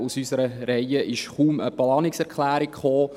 Aus unseren Reihen kam kaum eine Planungserklärung.